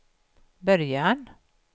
början